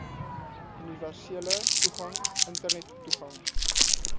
universele toegang internettoegang